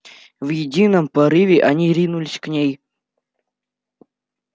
в едином порыве они ринулись к ней